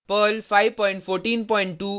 Perl 5142 और